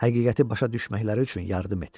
Həqiqəti başa düşməkləri üçün yardım et.